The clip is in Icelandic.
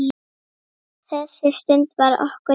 Þessi stund var okkur dýrmæt.